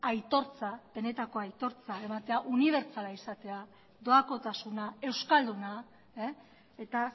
aitortza benetako aitortza ematea unibertsala izatea doakotasuna euskalduna eta